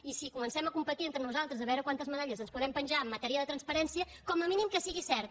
i si comencem a competir entre nosaltres a veure quantes medalles ens podem penjar en matèria de transparència com a mínim que sigui cert